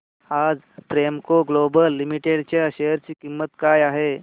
आज Premco global limited च्या share ची किंमत काय आहे